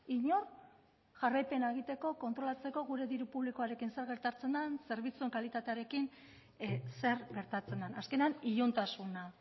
inor jarraipena egiteko kontrolatzeko gure diru publikoarekin zer gertatzen den zerbitzuen kalitatearekin zer gertatzen den azkenean iluntasuna